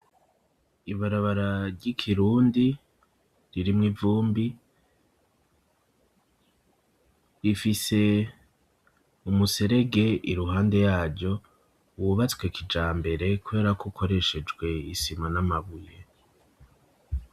Ibarabara ry'ikirundi, ririmwo ivumbi, rifise umuserege iruhande yaryo wubatswe kijambere kubera ko ukoreshejwe isima n'amabuye.